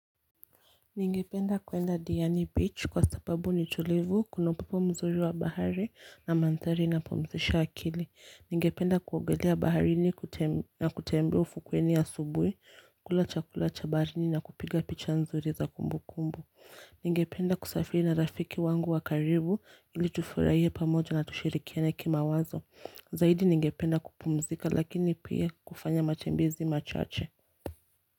Ningependa kuenda Diani Beach kwa sababu ni tulivu, kuna upope mzuri wa bahari na mandhari inayopumzisha akili. Ningependa kuogelea baharini na kutembea ufukweni asubuhi, kula chakula cha baharini na kupiga picha nzuri za kumbukumbu. Ningependa kusafiri na rafiki yangu wa karibu ili tufurahie pamoja na tushirikiane ki mawazo. Zaidi ningependa kupumzika lakini pia kufanya matembezi machache.